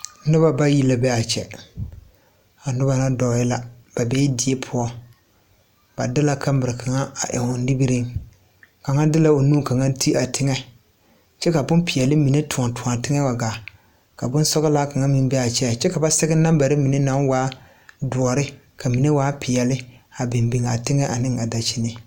Noba bayi la dɔɔ die pʋɔ. Ba de la kamira a eŋ o nimireŋ kyɛ ka kaŋ de o nu te teŋe kyɛ ka bon peɛle tɔɔ a teŋe wa ga. Bon sɔglaa kaŋ meŋ beebe kyɛ ka ba sɛge naŋbare naŋ waa dɔre kyɛ ka a mine waa peɛle a biŋ a teŋe ne a daŋkyini.